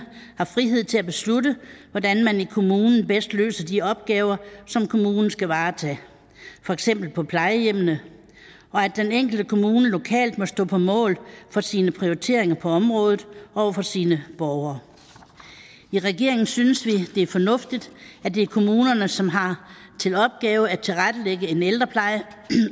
har frihed til at beslutte hvordan man i kommunen bedst løser de opgaver som kommunen skal varetage for eksempel på plejehjemmene og at den enkelte kommune lokalt må stå på mål for sine prioriteringer på området over for sine borgere i regeringen synes vi det er fornuftigt at det er kommunerne som har til opgave at tilrettelægge en ældrepleje